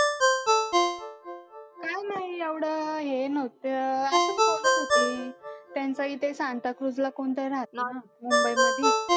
काय नाही एवढं हे नव्हतं असंच बोलत होती. त्यांच्या इथे संताक्रुजला कोणतर राहतं ना मुंबईमध्ये?